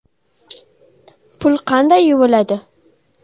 Pul qanday yuviladi?